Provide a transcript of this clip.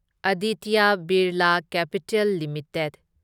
Aditya Birla capital limited